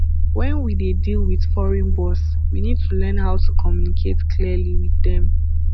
when we dey deal with foreign boss we need to learn how to communicate clearly with them